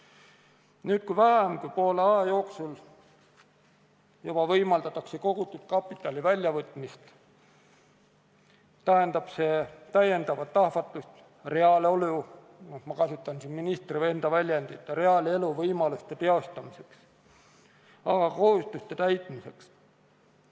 Aga nüüd, kui juba vähem kui poole aja möödudes võimaldatakse kogutud kapital välja võtta, tähendab see lisaahvatlusi reaalelu – ma kasutan siin ministri enda väljendit – võimaluste teostamiseks, aga ka võimalusi kohustuste täitmiseks.